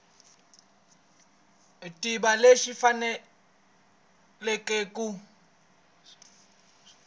tiva leswi va faneleke ku